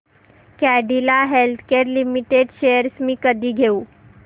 Cadila Healthcare Limited shares मी कधी घेऊ